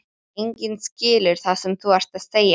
Enginn skilur það sem þú ert að segja!